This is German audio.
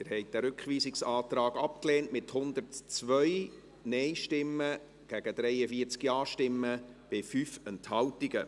Sie haben diesen Rückweisungsantrag abgelehnt, mit 102 Nein- gegen 43 Ja-Stimmen bei 5 Enthaltungen.